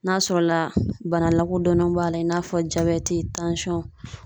N'a sɔrɔ la bana lakodɔnnenw b'a la i n'a fɔ